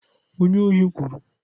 Onye ahụ kwuru.